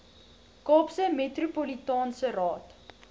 kaapse metropolitaanse raad